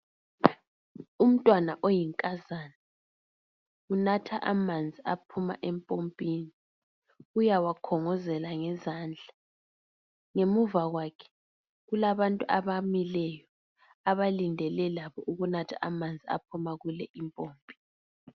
Umntwana oyinkazana unatha amanzi aphuma empompini uyawakhongozela ngezandla ngemuva kwakhe kulabantu abamileyo abalindele labo ukunatha amanzi aphuma kule impompi.